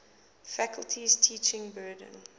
faculty's teaching burden